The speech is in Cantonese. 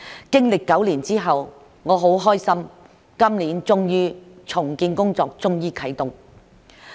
經歷9年之後，我很開心今年終於啟動重建工作。